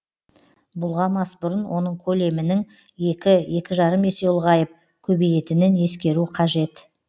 бұлғамас бұрын оның колемінің екі екі жарым есе ұлғайып көбейетінін ескеру қажет